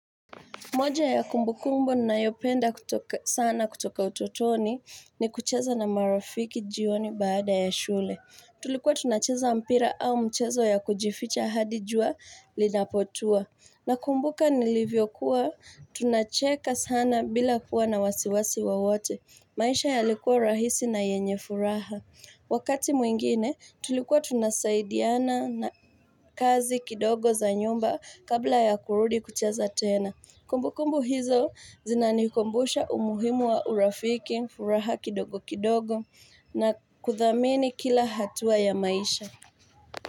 Moja ya kumbu kumbu ninayopenda sana kutoka utotoni ni kucheza na marafiki jioni baada ya shule. Tulikuwa tunacheza mpira au mchezo ya kujificha hadi jua linapotua. Na kumbuka nilivyo kuwa, tunacheka sana bila kuwa na wasiwasi wa wote. Maisha yalikuwa rahisi na yenye furaha. Wakati mwingine, tulikuwa tunasaidiana na kazi kidogo za nyumba kabla ya kurudi kucheza tena. Kumbu kumbu hizo zinanikumbusha umuhimu wa urafiki, furaha kidogo kidogo na kuthamini kila hatua ya maisha.